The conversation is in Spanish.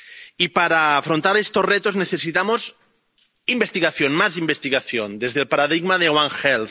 Y para afrontar estos retos necesitamos investigación, más investigación, desde el paradigma de One Health